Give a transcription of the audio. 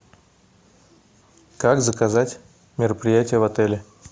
как заказать мероприятие в отеле